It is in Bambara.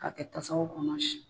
K'a kɛ tasaw kɔnɔ